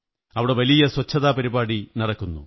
അവിടെ വലിയ സ്വച്ഛതാപരിപാടി നടന്നു